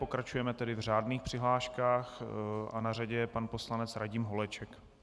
Pokračujeme tedy v řádných přihláškách a na řadě je pan poslanec Radim Holeček.